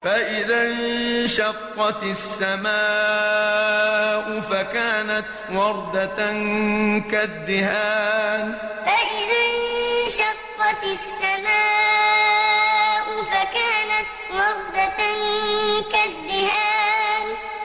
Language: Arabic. فَإِذَا انشَقَّتِ السَّمَاءُ فَكَانَتْ وَرْدَةً كَالدِّهَانِ فَإِذَا انشَقَّتِ السَّمَاءُ فَكَانَتْ وَرْدَةً كَالدِّهَانِ